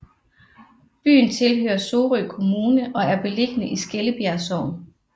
Byen tilhører Sorø Kommune og er beliggende i Skellebjerg Sogn